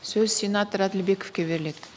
сөз сенатор әділбековке беріледі